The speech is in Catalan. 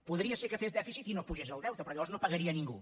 podria ser que fes dèficit i no pugés el deute però llavors no pagaria a ningú